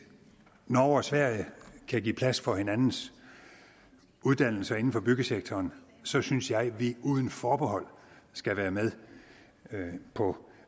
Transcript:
norge og sverige kan give plads for hinandens uddannelser inden for byggesektoren så synes jeg at vi uden forbehold skal være med på